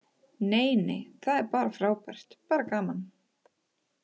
Nei nei, það er bara frábært, bara gaman.